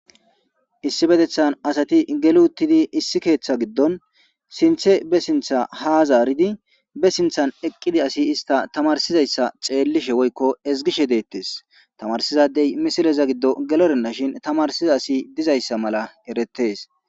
Issi bedethan asati geluttidi issi keeththa giddon sinthe be sintha ha zaaridi be sinthan eqqidi asi ista tamarsizayssa xeellishe woykko ezgishe deettes tamarsizadey misileza giddo gelorenna shin tamarsiza asi dizayssa mala eretees.